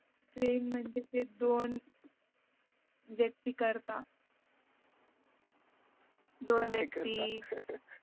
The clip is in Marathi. प्रेम म्हणजे ते दोन . व्यक्तिं करता. दोन व्यक्ती .